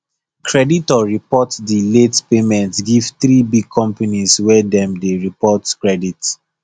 creditor report the late payment give three big companies wey dem dey report credit